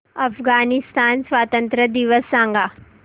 अफगाणिस्तान स्वातंत्र्य दिवस सांगा